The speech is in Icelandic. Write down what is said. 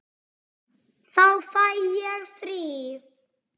Þá fæ ég frí.